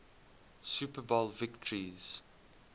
super bowl victories